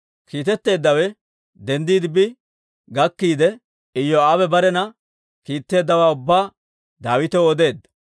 Kiitetteeddawe denddiide bi gakkiide, Iyoo'aabe barena kiitteeddawaa ubbaa Daawitaw odeedda.